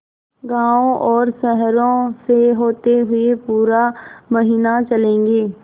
गाँवों और शहरों से होते हुए पूरा महीना चलेंगे